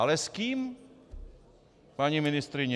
Ale s kým, paní ministryně?